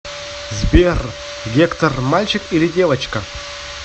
сбер гектор мальчик или девочка